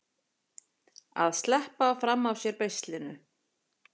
Að sleppa fram af sér beislinu